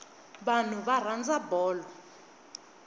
vanhu va rhandza bolo